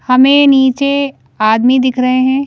हमें नीचे आदमी दिख रहे हैं।